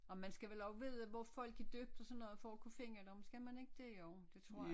Og man skal vel også vide hvor folk er døbt og sådan noget for at kunne finde dem jo det tror jeg